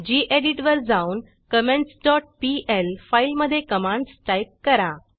गेडीत वर जाऊन comments dot pl फाईलमधे कमांडस टाईप करा